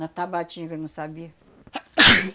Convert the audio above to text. Na Tabatinga não sabia (espirra).